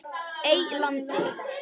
Eylandi